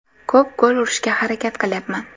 Ko‘p gol urishga harakat qilyapman.